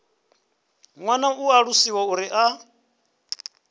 ṱoḓa u ṱalusiwa uri a